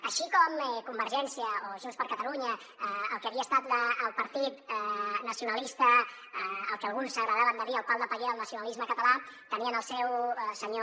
així com convergència o junts per catalunya el que havia estat el partit nacionalista al que alguns agradava de dir el pal de paller del nacionalisme català tenien el seu senyor